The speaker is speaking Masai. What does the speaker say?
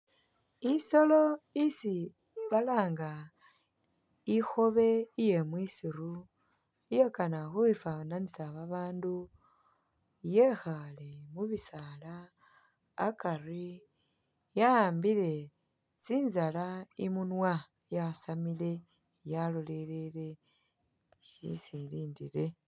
Isolo isi balanga ikhobe iye mwisiru iyakana khu khwi fananisa ba bandu yekhale mu bisaala akari ya'ambile tsinzala imunwa, yasamile yalolelele shesi i lindile.